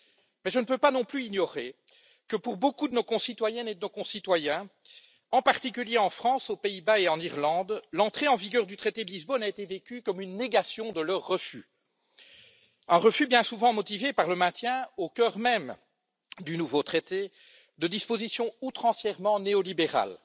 Mais je ne peux pas non plus ignorer que, pour beaucoup de nos concitoyennes et de nos concitoyens, en particulier en France, aux Pays Bas et en Irlande, l'entrée en vigueur du traité de Lisbonne a été vécue comme une négation de leur refus, un refus bien souvent motivé par le maintien, au cœur même du nouveau traité, de dispositions outrancièrement néolibérales,